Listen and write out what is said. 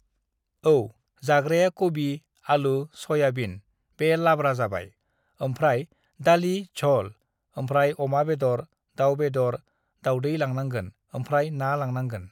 "औ जाग्राया कबि, आलु, सयाबिन (Soybean) बे लाब्रा जाबाय, ओमफ्राय दालि झल, ओमफ्राय अमा बेदर, दाउ बेदर, दावदै लानांगोन ओमफ्राय ना लानांगोन।"